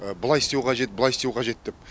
былай істеу қажет былай істеу қажет деп